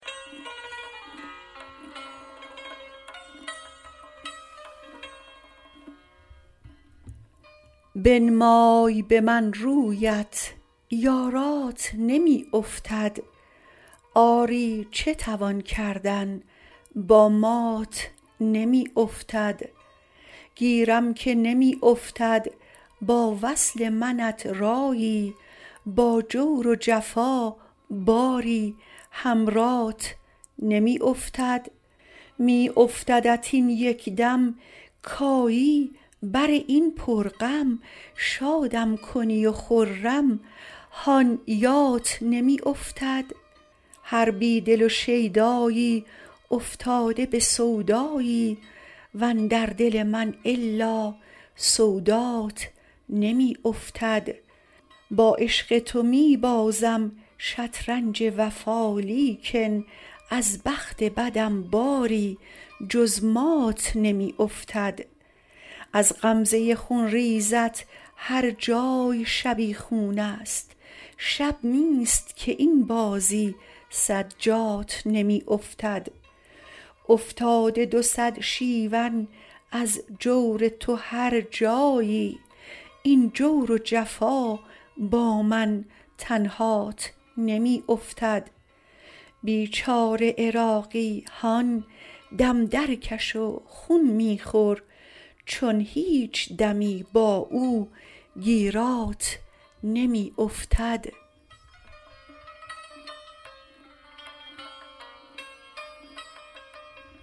بنمای به من رویت یارات نمی افتد آری چه توان کردن با مات نمی افتد گیرم که نمی افتد با وصل منت رایی با جور و جفا باری هم رات نمی افتد می افتدت این یک دم کایی براین پر غم شادم کنی و خرم هان یات نمی افتد هر بیدل و شیدایی افتاده به سودایی وندر دل من الا سودات نمی افتد با عشق تو می بازم شطرنج وفا لیکن از بخت بدم باری جز مات نمی افتد از غمزه خونریزت هرجای شبیخون است شب نیست که این بازی صد جات نمی افتد افتاده دو صد شیون از جور تو هرجایی این جور و جفا با من تنهات نمی افتد بیچاره عراقی هان دم درکش و خون می خور چون هیچ دمی با او گیرات نمی افتد